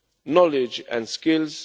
knowledge and skills